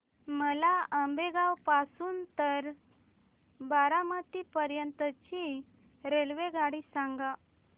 मला आंबेगाव पासून तर बारामती पर्यंत ची रेल्वेगाडी सांगा